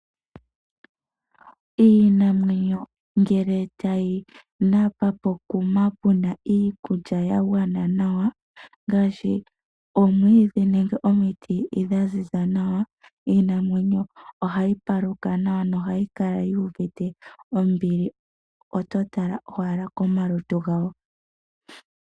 Iinamwenyo ngele tayi napa pokuma puna iikulya ya gwa gwana nawa, ngaashi oomwiidhi nenge omiti dha ziza nawa, iinamwenyo oha yipaluka nawa noha yikala yu uvite ombili, oto tala owala komalutu gawo.